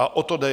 A o to jde.